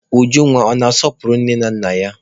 Ujunwa ọ na-asọpụrụ nne na nna ya?